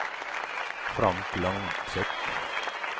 Frank Langseth